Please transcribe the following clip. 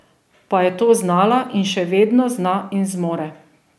Pa je to znala in še vedno zna in zmore.